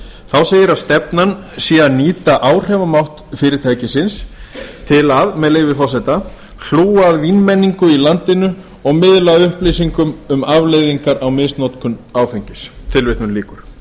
þá segir að stefnan sé að nýta áhrifamátt fyrirtækisins til að með leyfi forseta hlúa að vínmenningu í landinu og miðla upplýsingum um afleiðingar á misnotkun áfengis tilvitnun lýkur